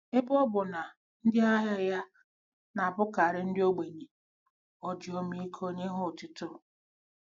Ebe ọ bụ na ndị ahịa ya na-abụkarị ndị ogbenye, o ji ọmịiko nye ha otuto.